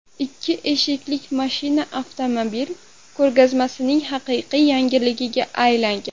Ikki eshikli mashina avtomobil ko‘rgazmasining haqiqiy yangiligiga aylangan.